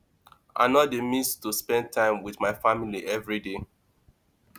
i no dey miss to spend time wit my family everyday